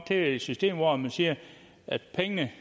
til et system hvor man siger at pengene